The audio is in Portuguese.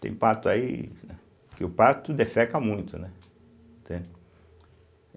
Tem pato aí, né, que o pato defeca muito, né? entende